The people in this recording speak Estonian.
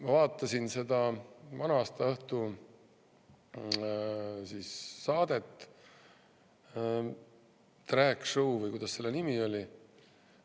Ma vaatasin seda vana-aastaõhtu saadet – "Drag Show" või kuidas selle nimi oligi.